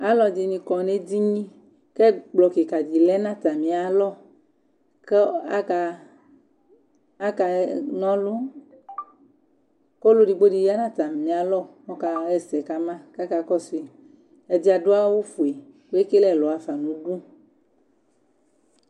Aluɛdini kɔ nu edini kɛkplɔ kika di lɛ natamialɔ Kaka nɔlu kɔlu edigbo ya nu atamialɔ kɔka yɛsɛ kama Ɛdi adu awu fue kuekele ɛlɔ yafa nu du